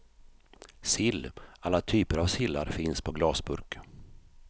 Sill, alla typer av sillar finns på glasburk.